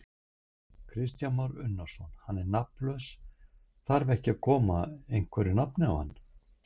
Kristján Már Unnarsson: Hann er nafnlaus, þar ekki að koma einhverju nafni á hann?